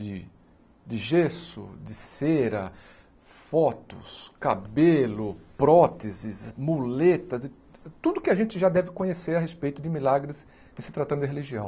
De de gesso, de cera, fotos, cabelo, próteses, muletas, e tudo que a gente já deve conhecer a respeito de milagres e se tratando de religião.